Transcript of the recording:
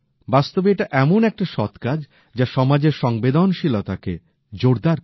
বাস্তবে এটা এমন একটা সৎকাজ যা সমাজের সংবেদনশীলতা জোরদার করে